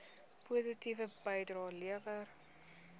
positiewe bydrae lewer